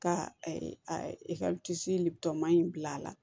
Ka ma in bila a la